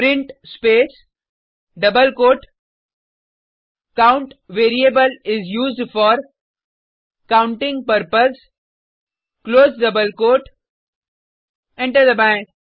print space double quote count variable is used for counting purpose close double quote enter दबाएँ